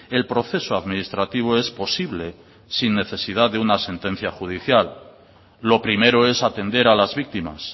el proceso administrativo es posible sin necesidad de una sentencia judicial lo primero es atender a las víctimas